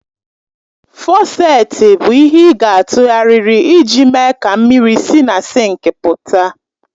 Fọsèti i bụ ihe ị ga-atụgharịrị iji mee ka mmiri si na sinkị pụta.